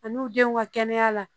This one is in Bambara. Ani u denw ka kɛnɛya la